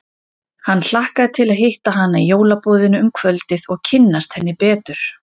Hann hlakkaði til að hitta hana í jólaboðinu um kvöldið og kynnast henni betur.